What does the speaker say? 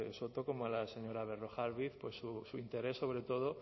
soto como a la señora berrojalbiz pues su interés sobre todo